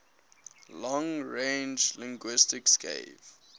long range linguistics gave